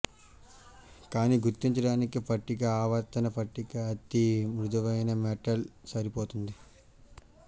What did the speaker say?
కానీ గుర్తించడానికి పట్టిక ఆవర్తన పట్టిక అతి మృదువైన మెటల్ సరిపోతుంది